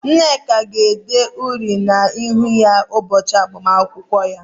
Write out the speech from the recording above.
Nneka ga-ede uri na -ihu ya ụbọchị agbamakwụkwọ ya.